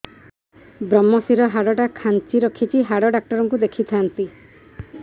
ଵ୍ରମଶିର ହାଡ଼ ଟା ଖାନ୍ଚି ରଖିଛି ହାଡ଼ ଡାକ୍ତର କୁ ଦେଖିଥାନ୍ତି